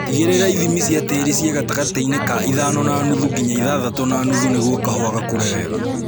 Tigĩrĩra ithimi cia tĩri ciĩ gatagatĩinĩ ka ithano na nuthu nginya ithathatũ na nuthu nĩguo kahũa gakũre wega